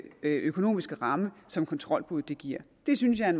økonomiske ramme som kontrolbuddet giver det synes jeg er